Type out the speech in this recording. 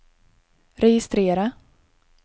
registrera